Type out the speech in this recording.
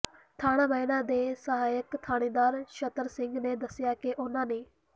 ਥਾਣਾ ਮਹਿਣਾ ਦੇ ਸਹਾਇਕ ਥਾਣੇਦਾਰ ਨਛੱਤਰ ਸਿੰਘ ਨੇ ਦੱਸਿਆ ਕਿ ਉਨ੍ਹਾਂ ਨੇ